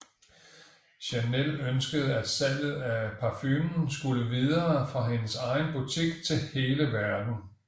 Chanel ønskede at salget af parfumen skulle videre fra hendes egen butik til hele verden